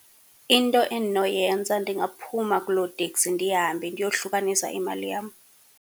Into endinoyenza ndingaphuma kuloo teksi, ndihambe ndiyohlukanisa imali yam.